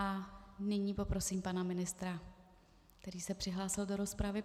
A nyní poprosím pana ministra, který se přihlásil do rozpravy.